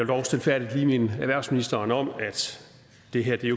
dog stilfærdigt lige minde erhvervsministeren om at det her